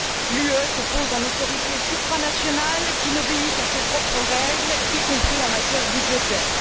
L'Union se pose en autorité supranationale qui n'obéit qu'à ses propres règles, y compris en matière budgétaire.